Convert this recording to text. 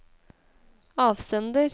avsender